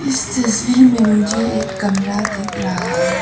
इस तस्वीर में मुझे एक कमरा दिख रहा है।